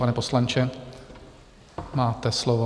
Pane poslanče, máte slovo.